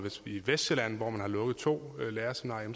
i vestsjælland hvor man har lukket to lærerseminarier